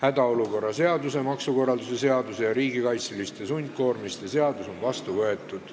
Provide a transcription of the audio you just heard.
Hädaolukorra seaduse, maksukorralduse seaduse ja riigikaitseliste sundkoormiste seadus on vastu võetud.